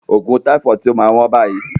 ògùn taifọọdu ti ma wọ́n bayii